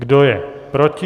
Kdo je proti?